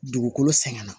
Dugukolo sɛgɛn na